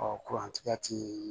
kurantigɛ ti